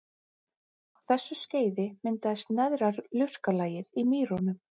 Á þessu skeiði myndaðist neðra lurkalagið í mýrunum.